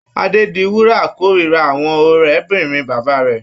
Adédiwúrà kórira àwọn ọ̀rébìnrin bàbá rẹ̀.